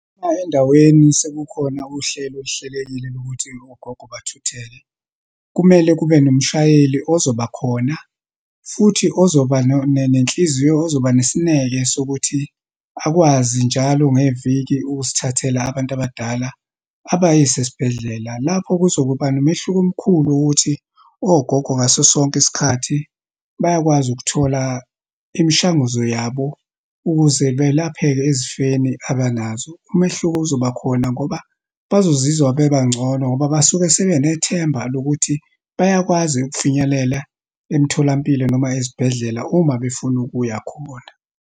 Uma endaweni sekukhona uhlelo oluhlelekile lokuthi ogogo bathutheke, kumele kube nomshayeli ozoba khona, futhi ozoba nenhliziyo, ozoba nesineke sokuthi akwazi njalo ngeviki ukusithathela abantu abadala abayise esibhedlela. Lapho kuzokuba nomehluko omkhulu ukuthi, ogogo ngaso sonke isikhathi, bayakwazi ukuthola imishanguzo yabo, ukuze belapheke ezifeni abanazo. Umehluko uzoba khona ngoba bazozizwa bebangcono ngoba basuke sebenethemba lokuthi, bayakwazi ukufinyelela emtholampilo noma ezibhedlela uma befuna ukuya khona.